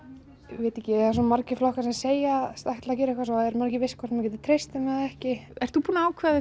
veit ekki það eru svo margir flokkar sem segjast ætla gera eitthvað og svo er maður ekki viss hvort maður geti treyst þeim eða ekki ert þú búinn að ákveða